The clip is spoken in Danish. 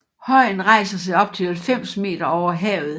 Højen rejser sig op til 90 meter over havet